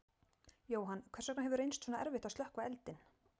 Jóhann, hvers vegna hefur reynst svona erfitt að slökkva eldinn?